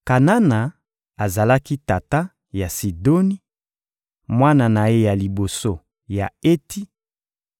Kanana azalaki tata ya Sidoni, mwana na ye ya liboso, ya Eti,